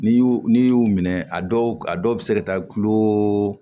N'i y'u n'i y'u minɛ a dɔw a dɔw bɛ se ka taa kilo